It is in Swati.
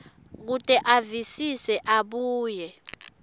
kute avisise abuye